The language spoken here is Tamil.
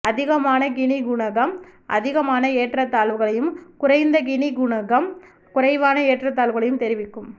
அதிகமான கினி குணகம் அதிகமான ஏற்றத்தாழ்வுகளையும் குறைந்த கினி குணகம் குறைவான ஏற்றத்தாழ்வுகளையும் தொிவிக்கும்